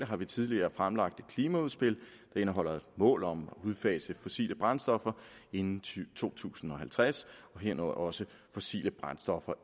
har vi tidligere fremlagt et klimaudspil der indeholder mål om at udfase fossile brændstoffer inden to tusind og halvtreds herunder også fossile brændstoffer